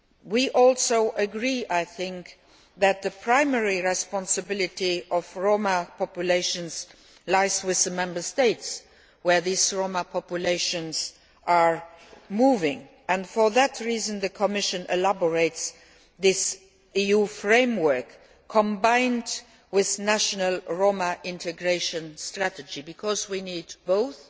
We also agree, I think, that the primary responsibility for Roma populations lies with the Member States in which these Roma populations are moving, and it is for that reason that the Commission is drawing up this EU framework combined with national Roma integration strategies, because we need both